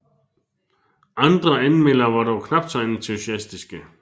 Andre anmeldere var dog knapt så entusiastiske